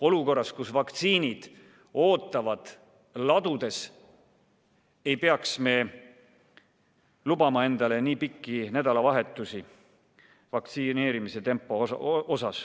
Olukorras, kus vaktsiinid ootavad ladudes, ei tohiks vaktsineerimisel lubada nii pikki loide nädalavahetusi.